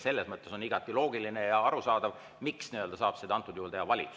Selles mõttes on igati loogiline ja arusaadav, miks saab seda teha valitsus.